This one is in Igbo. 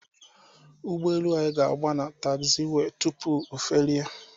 ụgbọelu anyị ga-agba na tagziwee tupu ofelie.